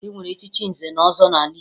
E nwere echichi nze na ọzọ n'ala Igbo